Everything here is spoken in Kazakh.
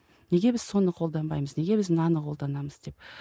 неге біз соны қолданбаймыз неге біз мынаны қолданамыз деп